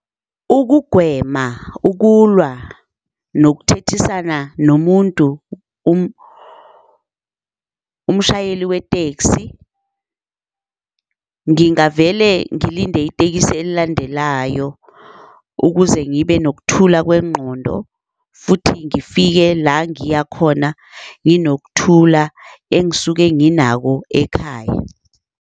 Ukugwema ukulwa nokuthethisana nomuntu umshayeli we-taxi, ngingavele ngilinde itekisi elilandelayo ukuze ngibe nokuthula kwengqondo futhi ngifike la ngiya khona nginokuthula engisuke nginako ekhaya.